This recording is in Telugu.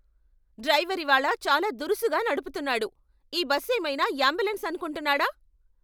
డ్రైవర్ ఇవాళ చాలా దురుసుగా నడుపుతున్నాడు. ఈ బస్ ఏమైనా యాంబులెన్స్ అనుకుంటున్నాడా?